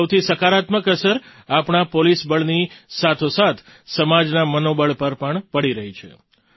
તેની સૌથી સકારાત્મક અસર આપણા પોલીસ બળની સાથોસાથ સમાજના મનોબળ પર પણ પડી રહી છે